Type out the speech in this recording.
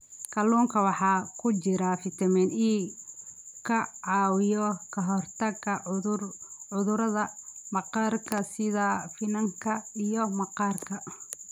Kalluunka waxaa ku jira fiitamiin e ka caawiya ka hortagga cudurrada maqaarka sida finanka iyo maqaarka.